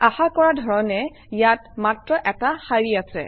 আশা কৰা ধৰণে ইয়াত মাত্ৰ এটা শাৰী আছে